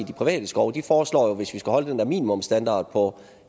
private skove de foreslår jo at hvis vi skal holde den der minimumsstandard på